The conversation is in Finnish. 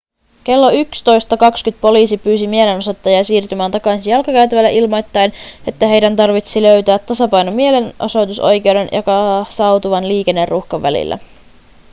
kello 11.20 poliisi pyysi mielenosoittajia siirtymään takaisin jalkakäytävälle ilmoittaen että heidän tarvitsi löytää tasapaino mielenosoitusoikeuden ja kasautuvan liikenneruuhkan välillä